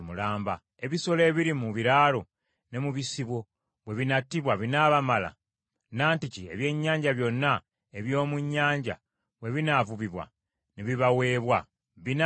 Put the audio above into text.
Ebisolo ebiri mu biraalo ne mu bisibo bwe binattibwa binaabamala? Nantiki ebyennyanja byonna eby’omu nnyanja bwe binaavubibwa ne bibaweebwa, binaabamala?”